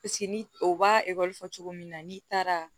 ni o b'a cogo min na n'i taara